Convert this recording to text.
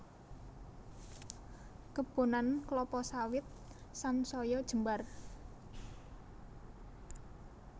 Kebonan klapa sawit sansaya jembar